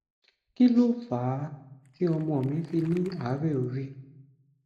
kí ló fà á tí ọmọ mi fi ní àárè orí